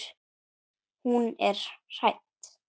Hún er hrædd.